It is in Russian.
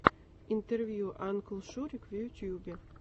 интервью анклшурик в ютубе